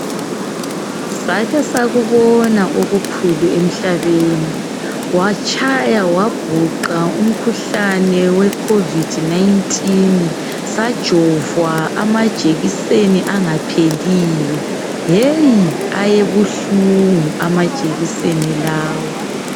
Sake sakubona okukhulu emhlabeni, watshaya wabhuqa umkhuhlane wecovid 19, sajovwa amajekiseni angapheliyo. Yeyi! Ayebuhlungu amajekiseni lawa.